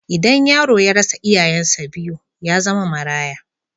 Idan yaro ya rasa iyayensa biyu, ya zama maraya.